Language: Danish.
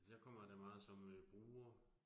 Altså jeg kommer der meget som øh bruger